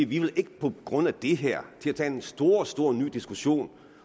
vi ikke på grund af det her vil tage en stor stor ny diskussion